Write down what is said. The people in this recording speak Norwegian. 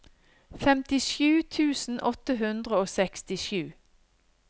femtisju tusen åtte hundre og sekstisju